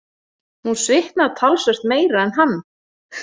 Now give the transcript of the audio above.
Hún svitnar talsvert meira en hann.